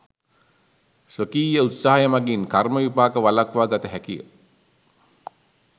ස්වකීය උත්සාහය මගින් කර්ම විපාක වලක්වා ගත හැකිය.